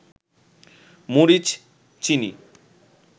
মরিচ, চিনি